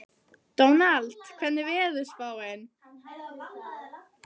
Dónald, hvernig er veðurspáin?